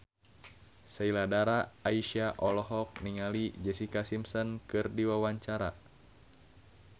Sheila Dara Aisha olohok ningali Jessica Simpson keur diwawancara